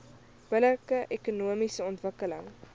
billike ekonomiese ontwikkeling